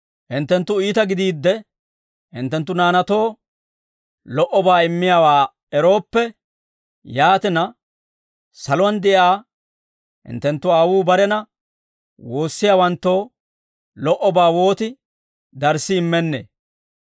Hinttenttu iita gidiidde, hinttenttu naanaatoo lo"obaa immiyaawaa erooppe, yaatina, saluwaan de'iyaa hinttenttu Aawuu barena woossiyaawanttoo lo"obaa wooti darssi immennee!